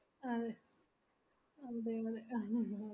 അതെ അതെ അതെ അത് നല്ലതാ